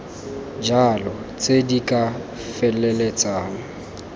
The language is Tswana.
jalo tse di ka feleltsang